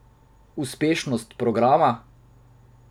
Uspešnost programa?